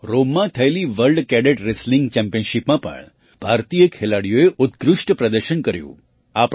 રોમમાં થયેલી world cadet wrestling ચેમ્પિયનશિપમાં પણ ભારતીય ખેલાડીઓએ ઉત્કૃષ્ટ પ્રદર્શન કર્યું